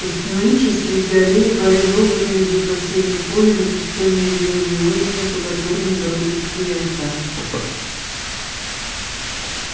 и остановившись среди аллеи барин долго глядит в осеннее поле на пустынные зелёные озими по которым бродят телята